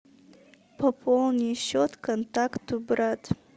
пополни счет контакту брат